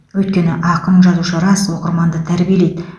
өйткені ақын жазушы рас оқырманды тәрбиелейді